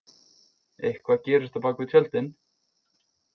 Eitthvað gerist á bak við tjöldin